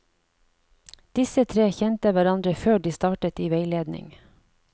Disse tre kjente hverandre før de startet i veiledning.